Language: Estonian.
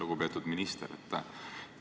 Lugupeetud minister!